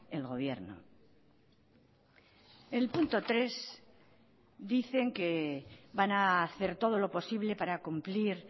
el gobierno el punto tres dicen que van a hacer todo lo posible para cumplir